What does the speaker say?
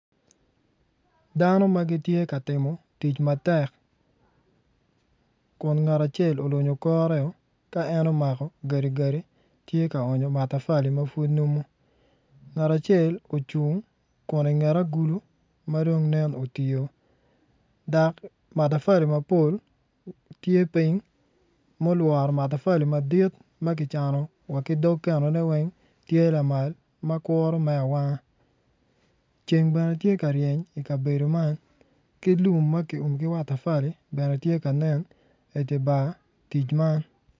Damo ma gitye ka timo tic matek kun ngat acel olunyo kore ka omako gadigadi tye ka okonyo matafali ma pud nunu ngat acel ocung kun i nget agulu ma dong nen otiyo dok matafali mapol tye piny mulwro matafali madit ma kicano wa ki dog kenone weng tye lamal ma kuru me awanga ceng bene tye ka reny i kabedo man ki lum ma ki umo ki matafali bene tye ka nen i dye bar tic man.